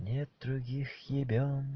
нет других ебем